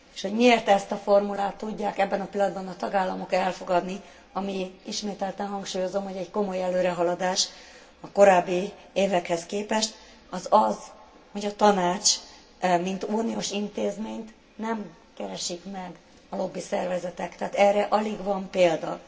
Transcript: S hogy miért ezt a formulát tudják ebben a pillanatban a tagállamok elfogadni, ami, ismételten hangsúlyozom, hogy egy komoly előrehaladás a korábbi évekhez képest az az, hogy a Tanácsot mint uniós intézményt nem keresik meg a lobbiszervezetek, tehát erre alig van példa.